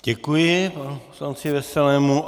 Děkuji panu poslanci Veselému.